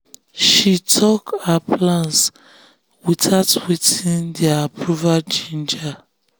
she talk her plans without waiting for their approve ginger.